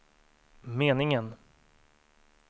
meningen